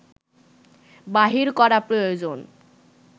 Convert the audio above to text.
বাহির করা প্রয়োজন